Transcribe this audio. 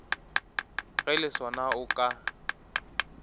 ge le sona o ka